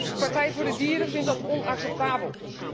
De Partij voor de Dieren vindt dat onacceptabel.